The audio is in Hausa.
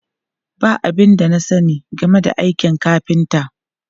Ba abin da na sani game da aikin kafinta.